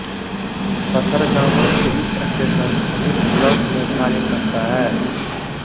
Pathargama police station इस block में कार्य करता है